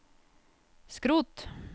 skrot